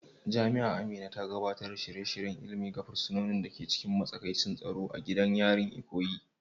Jami'a Amina ta gabatar da shirye-shiryen ilimi ga fursunonin da ke cikin matsakaicin tsaro a gidan yari, Ikoyi.